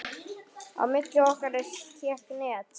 Á milli okkar hékk net.